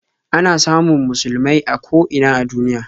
Ana samun musulmai a ko ina a duniya.